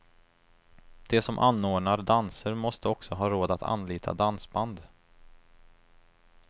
De som anordnar danser måste också ha råd att anlita dansband.